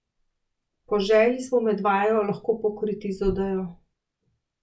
Po želji smo med vajo lahko pokriti z odejo.